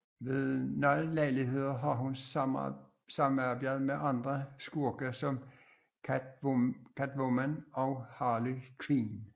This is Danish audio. Ved nogle lejligheder har hun samarbejdet med andre skurke som Catwoman og Harley Quinn